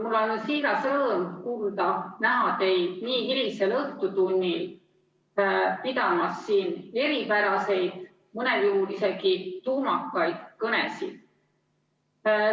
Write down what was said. Mul on siiras rõõm kuulda ja näha teid nii hilisel õhtutunnil pidamas siin eripäraseid, mõnel juhul isegi tuumakaid kõnesid.